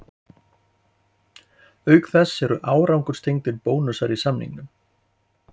Auk þess eru árangurstengdir bónusar í samningnum.